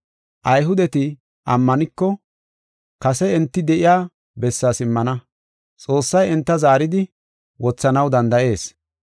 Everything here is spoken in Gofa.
Ayhudeti ammaniko, kase enti de7iya bessaa simmana. Xoossay enta zaaridi, wothanaw danda7ees.